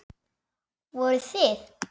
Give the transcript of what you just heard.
Voruð þið.